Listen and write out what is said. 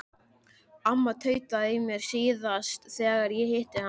Amma tautaði í mér síðast þegar ég hitti hana.